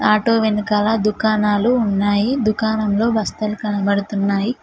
Auto వెనకాల దుకాణాలు ఉన్నాయి దుకాణంలో బస్తలు కనబడుతున్నాయి.